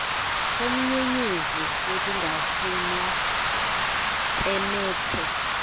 somnyenyevu wokungafunwa pemethe